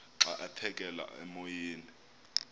xa aphekela emoyeni